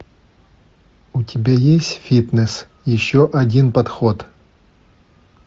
у тебя есть фитнес еще один подход